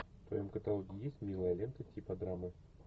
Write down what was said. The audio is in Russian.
в твоем каталоге есть милая лента типа драмы